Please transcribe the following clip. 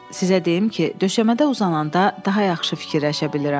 Sizə deyim ki, döşəmədə uzananda daha yaxşı fikirləşə bilirəm.